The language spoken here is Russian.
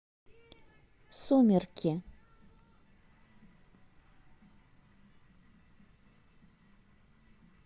сумерки